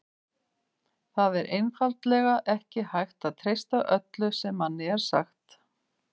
Það er einfaldlega ekki hægt að treysta öllu sem manni er sagt.